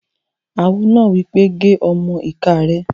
Awo náà wí pé "gé ọmọ-ìká rẹ̀!"